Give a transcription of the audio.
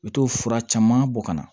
U bɛ t'o fura caman bɔ ka na